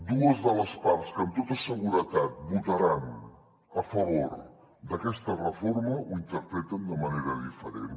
dues de les parts que amb tota seguretat votaran a favor d’aquesta reforma ho interpreten de manera diferent